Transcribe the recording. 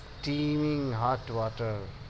હાથ